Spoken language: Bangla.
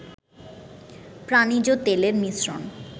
প্রানিজ তেলের মিশ্রণ